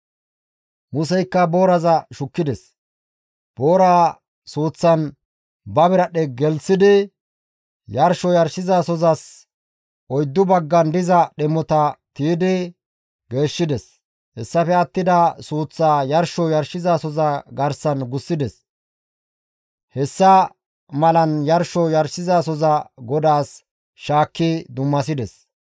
Museykka booraza shukkides; booraa suuththan ba biradhdhe gelththidi yarsho yarshizasozas oyddu baggan diza dhemota tiydi geeshshides; hessafe attida suuththaa yarsho yarshizasoza garsan gussides; hessa malan yarsho yarshizasoza GODAAS shaakki dummasides.